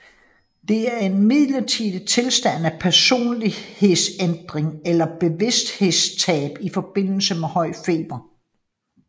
Det er en midlertidig tilstand af personlighedsændring eller bevidsthedstab i forbindelse med høj feber